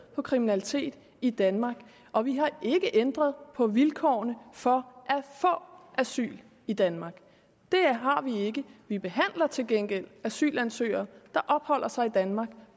på kriminalitet i danmark og vi har ikke ændret på vilkårene for få asyl i danmark det har vi ikke vi behandler til gengæld asylansøgere der opholder sig i danmark